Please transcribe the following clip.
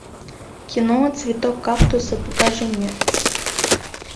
кино цветок кактуса покажи мне